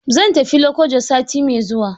Zan tafi Lokoja sati mai zuwa.